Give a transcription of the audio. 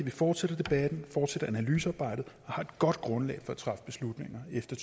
vi fortsætter debatten fortsætter analysearbejdet og har et godt grundlag for at træffe beslutninger efter